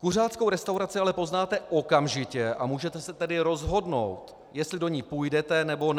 Kuřáckou restauraci ale poznáte okamžitě, a můžete se tedy rozhodnout, jestli do ní půjdete, nebo ne.